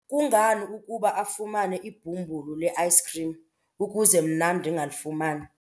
Kungani ukuba afumane ibhumbulu le-ayisikhrim ukuze mna ndingalifumani?